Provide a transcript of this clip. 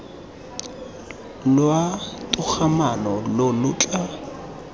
lwa togamaano lo lo tla